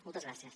moltes gràcies